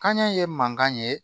Kanɲɛ ye mankan ye